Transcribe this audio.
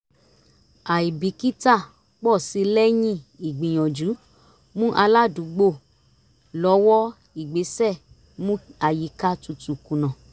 àìbìkítà pọ̀ sí lẹ́yìn ìgbìyànjú mú aládùúgbò lọ́wọ́ ìgbésẹ̀ mú àyíká tutù kùnà